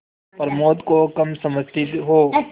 प्रमोद को कम समझती हो